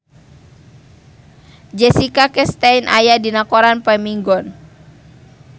Jessica Chastain aya dina koran poe Minggon